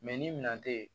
ni minɛn te yen